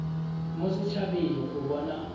mo set habeng go bona